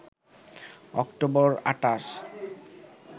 October ২৮